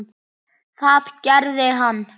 Það gerði hann.